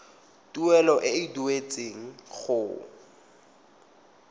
tuelo e e duetsweng go